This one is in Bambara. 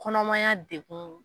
Kɔnɔmaya degun.